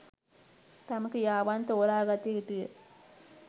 තම ක්‍රියාවන් තෝරාගත යුතු ය.